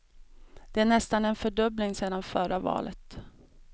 Det är nästan en fördubbling sedan förra valet.